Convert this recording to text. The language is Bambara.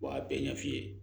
Wa a bɛɛ ɲɛ f'i ye